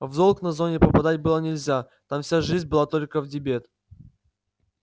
в долг на зоне попадать было нельзя там вся жизнь была только в дебет